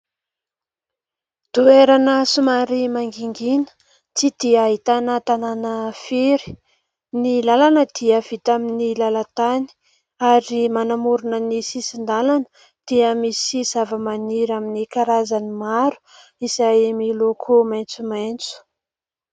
Toerana somary mangingina tsy dia ahitana tanàna firy. Ny làlana dia vita amin'ny lalantany ary manamorona ny sisin-dalana dia misy zavamaniry amin'ny karazany maro izay miloko maitsomaitso.